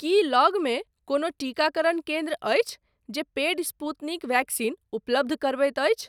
की लगमे कोनो टीकाकरण केन्द्र अछि जे पेड स्पूतनिक वैक्सीन उपलब्ध करबैत अछि ?